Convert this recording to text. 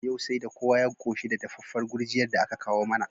Yau saida kowa ya qoshi da dafaffar gurjiyar da aka kawo mana